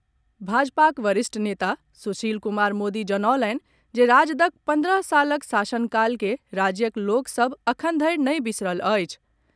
भाजपाक वरिष्ठ नेता सुशील कुमार मोदी जनौलनि जे राजदक पन्द्रह सालक शासनकाल के राज्यक लोक सभ अखन धरि नहि बिसरल अछि।